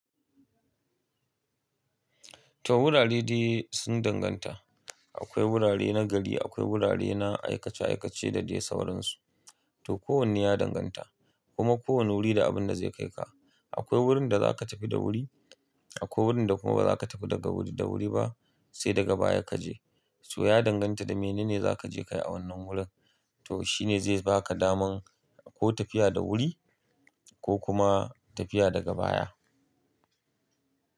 To wurare dai sun danganta. Akwai wurare na gari, akwai wurare na aikace aikace da dai sauransu. To kowanne ya danganta, kuma kowane wuri da abinda zai kaika. Akwai wurin da za ka tafi da wuri, akwai wurin da kuma bazaka tafi daga wuri da wuri ba sai daga baya kaje. To ya danganta da menene zakaje kayi a wannan wurin. To shine zai baka daman ko tafiya da wuri ko kuma tafiya daga baya.